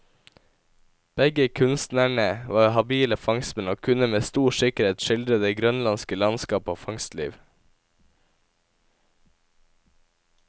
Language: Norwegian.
Begge kunstnerne var habile fangstmenn, og kunne med stor sikkerhet skildre det grønlandske landskap og fangstliv.